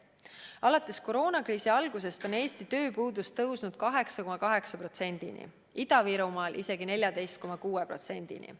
Alates koroonakriisi algusest on Eesti tööpuudus tõusnud 8,8%-ni, Ida-Virumaal isegi 14,6%-ni.